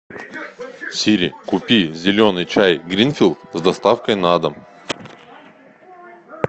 сири купи зеленый чай гринфилд с доставкой на дом